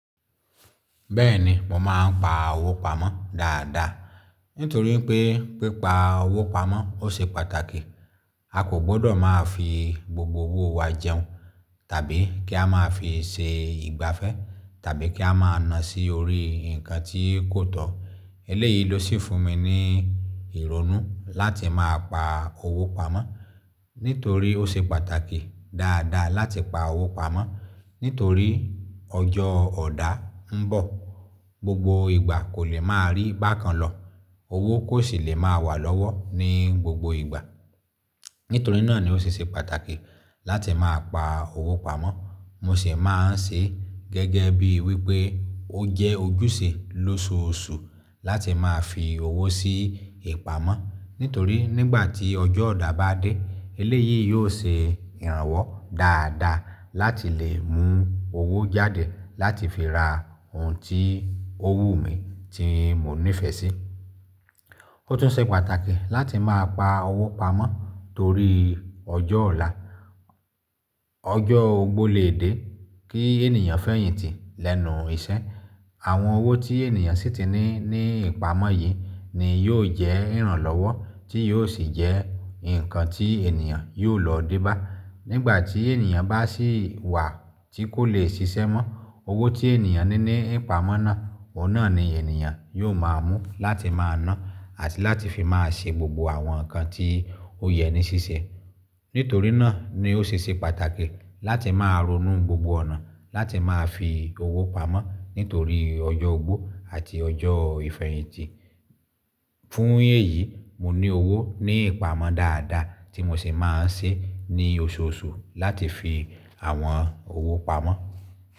Bẹ́ẹ̀ni, mo máa ń pa owó pamọ́ dáadáa nítorí pé pípa owó pamọ́ ó ṣe pàtàkì. A kò gbọdọ̀ máa fi gbogbo owó wa jẹun, tàbí kí a máa fi ṣe ìgbafẹ́, tàbí kí a máa na sí orí nǹkan tí kò tọ́. Eléyìí ló sì fún mi ní ìrònú láti máa pa owó pamọ́ nítorí ó ṣe pàtàkì dáadáa láti pa owó pamọ́ nítorí ọjọ́ ọ̀dà ń bọ̀. Gbogbo ìgbà kò lè máa rí bákan lọ. Owó kò sì lè máa wà lọ́wọ́ ní gbogbo ìgbà. Nítorí náà ni ó ṣe ṣe pàtàkì láti máa pa owó pamọ́. Mo sì máa ń ṣe gẹ́gẹ́ bí wí pé ó jẹ́ ojúṣe lóṣooṣù láti máa fi owó sí ìpamọ́ nítorí nígbà tí ọjọ́ ọ̀dà bá dé eléyìí yóò ṣe ìrànwọ́ dáadáa láti lè mú owó jáde láti fi ra ohun tí ó wù mí, tí mo nífẹ̀ẹ́ sí. Ó tún ṣe pàtàkì láti máa pa owó pamọ́ torí ọjọ́ ọ̀la, ọjọ́ ogbó lè dé kí ènìyàn fẹ̀yìntì lẹ́nu iṣẹ́. Àwọn owó tí ènìyàn sì ti ní ní ìpamọ́ yìí ni yóò jẹ́ ìrànlọ́wọ́ tí yóò sì jẹ́ ǹkan tí ènìyàn yóò lò debá nígbà tí ènìyàn bá sì wà tí kò lè ṣiṣẹ́ mọ́. Owó tí ènìyàn ní ní ìpamọ́ náà, òun náà ni ènìyàn yóò máa mú láti máa na àti láti fi máa ṣe gbogbo àwọn nǹkan tí ó yẹ ní ṣíṣe. Nítorí náà ni ó ṣe ṣe pàtàkì láti máa ronú gbogbo ọ̀nà láti máa fi owó pamọ́ nítorí ọjọ́ ogbó àti ọjọ́ ìfẹ̀yìntì. Fún èyí, mo ní owó ní ìpamọ́ dáadáa tí mo sì máa ń ṣe ní oṣooṣù láti fi àwọn owó pamọ́.